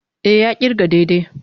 E, ya ƙirga daidai.